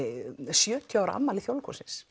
sjötíu ára afmæli Þjóðleikhússins